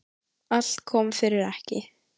Allt kom fyrir ekki.